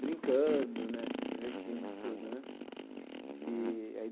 brincando né, se divertindo, tudo né e aí.